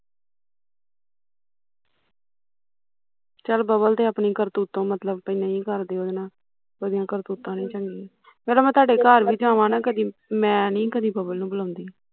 ਚੱਲ ਬੱਬਲ ਤੇ ਆਪਣੀ ਕਰਤੁਤੋ ਚੱਲ ਨਹੀਂ ਕਰਦੀ ਉਹਦੇ ਨਾਲ਼ ਉਹਦੀਆਂ ਕਰਤੂਤਾਂ ਨੀ ਚੰਗੀਆ ਤੁਹਾਡੇ ਘਰ ਵੀ ਜਾਵਾ ਨਾ ਕਦੀ, ਮੈਂ ਨੀ ਕਦੀ ਬੱਬਲ ਨੂੰ ਬੁਲਾਉਂਦੀ